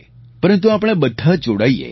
પરંતુ આપણે બધા જોડાઈએ